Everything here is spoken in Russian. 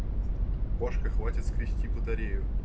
кошка хватит кристи батареи